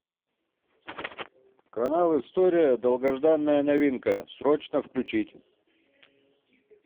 канал история долгожданная новинка срочно включить